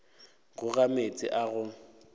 go ga meetse a go